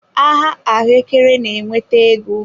Aha ahuekere na-eweta ego.